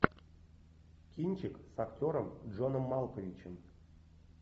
кинчик с актером джоном малковичем